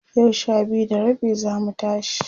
yau Sha biyu da rabi zamu tashi